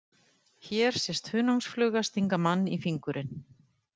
Hér sést hunangsfluga stinga mann í fingurinn.